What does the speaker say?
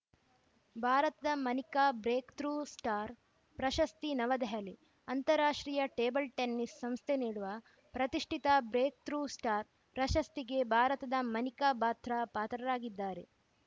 ಭಾರತದ Manika breakthrough star ಪ್ರಶಸ್ತಿ ನವದೆಹಲಿ ಅಂತಾರಾಷ್ಟ್ರೀಯ ಟೇಬಲ್‌ ಟೆನಿಸ್‌ ಸಂಸ್ಥೆ ನೀಡುವ ಪ್ರತಿಷ್ಠಿತ ಬ್ರೇಕ್‌ಥ್ರೂ ಸ್ಟಾರ್‌ ಪ್ರಶಸ್ತಿಗೆ ಭಾರತದ ಮನಿಕಾ ಬಾತ್ರಾ ಪಾತ್ರರಾಗಿದ್ದಾರೆ